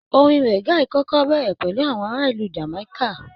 Orin reggae kọkọ bẹrẹ pẹlu àwọn ará ìlú Jamaika.